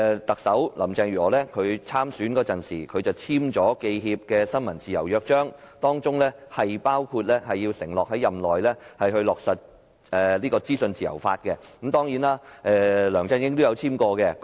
特首林鄭月娥在競選時簽署了香港記者協會的新聞自由約章，包括承諾在任內落實資訊自由法，而梁振英亦曾簽署該約章。